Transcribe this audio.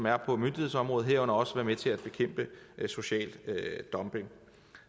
er på myndighedsområdet herunder også være med til at bekæmpe social dumping